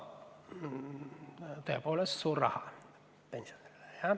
Tõepoolest, see on pensionärile suur raha.